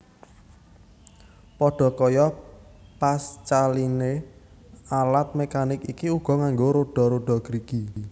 Pada kaya Pascaline alat mekanik iki uga nganggo roda roda gerigi